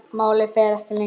Málið fer ekki lengra.